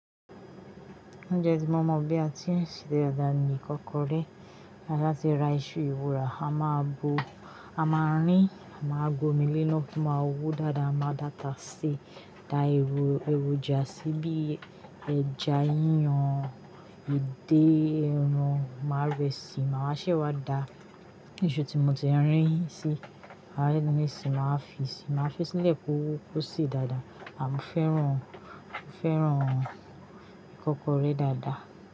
Ounjẹ tí mọ̀ mọ̀ bí a ti ń ṣe dàda ìkọ́kọrẹ́ ti a ba ti ra iṣu ewura A máa bo, a máa rín, a máa gbomi léná kí ma wó dáadáa, a máa data sé, da èrò ẹròjà sí i bí ẹja yíyan, edé, ẹran, màá rẹ síi, màá ṣẹ́ wá dá iṣu tí mo ti rín sí, àárín mi sì máa fi sí i, màá fẹ́ sílẹ̀ kó ṣe dáadáa. À mo fẹ́ran, o fẹ́ran ìkọ́kọrẹ́ dáadáa?